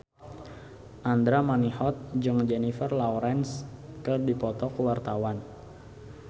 Andra Manihot jeung Jennifer Lawrence keur dipoto ku wartawan